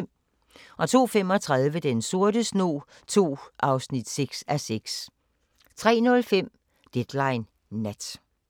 02:35: Den sorte snog II (6:6) 03:05: Deadline Nat